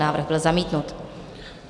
Návrh byl zamítnut.